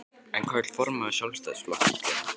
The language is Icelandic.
En hvað vill formaður Sjálfstæðisflokksins gera?